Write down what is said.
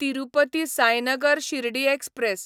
Tirupati Sainagar Shirdi express